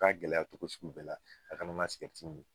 U ka gɛlɛyatogo sugu bɛɛ la, a kana na min